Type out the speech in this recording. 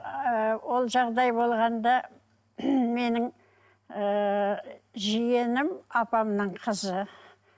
ыыы ол жағдай болғанда менің ыыы жиенім апамның қызы